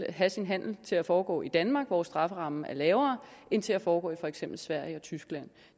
at have sin handel til at foregå i danmark hvor strafferammen er lavere end til at foregå i for eksempel sverige og tyskland